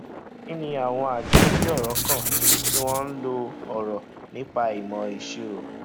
kí ni àwọn àjọ tí ọrọ kàn tí wón ń lo ọrọ nípa ìmọ ìṣirò